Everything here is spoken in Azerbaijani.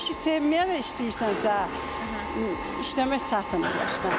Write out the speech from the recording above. O işi sevməyənə işləyirsənsə, işləmək çətindir.